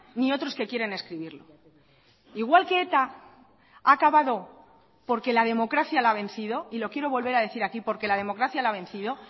ni otros que quieren escribirlo igual que eta ha acabado porque la democracia la ha vencido y lo quiero volver a decir aquí porque la democracia la ha vencido